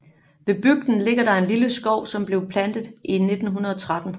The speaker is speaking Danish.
Ved bygden ligger der en lille skov som blev plantet i 1913